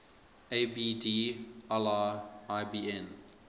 abd allah ibn